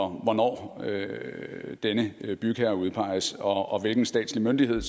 hvornår denne bygherre udpeges og hvilken statslig myndighed